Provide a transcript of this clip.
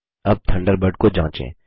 अब थंडरबर्ड को जाँचें